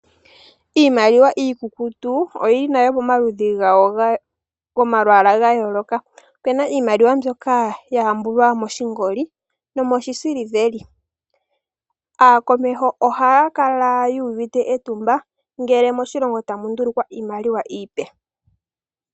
Iimaliwa mbyoka iikukutu oyi li nale pamalwaala ga yooloka. Ope na mbyoka ya hambulwa moshingoli no moshisiliveli. Aakomeho ohaa kala yuuvite etumba, ngele moshilongo tamu ndulukwa iimaliwa iipe.